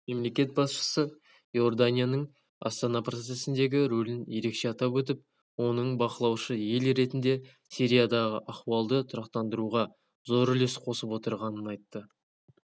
мемлекет басшысы иорданияның астана процесіндегі рөлін ерекше атап өтіп оның бақылаушы ел ретінде сириядағы ахуалды тұрақтандыруға зор үлес қосып отырғанын айтты